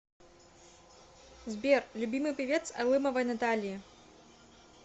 сбер любимый певец алымовой натальи